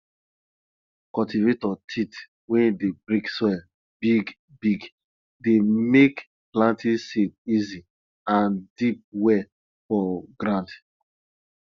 cultivator teeth wey dey break soil bigbigg dey make planting seed easy and deep well for ground